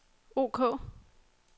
ok